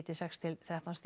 sex til þrettán stig